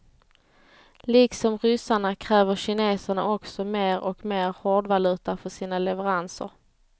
Liksom ryssarna kräver kineserna också mer och mer hårdvaluta för sina leveranser.